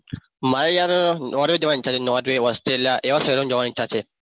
મારે યાર norve જોવાનું છે norve australia એવા દેશો જોવાની ઈચ્છા છે.